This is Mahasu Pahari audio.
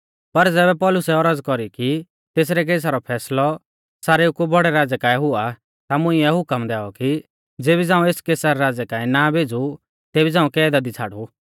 पर ज़ैबै पौलुसै औरज़ कौरी कि तेसरै केसा रौ फैसलौ सारेऊ कु बौड़ै राज़ै काऐ हुआ ता मुंइऐ हुकम दैऔ कि ज़ेबी झ़ांऊ एस कैसर राज़ै काऐ ना भेज़ु तेबी झ़ांऊ कैदा दी छ़ाड़ु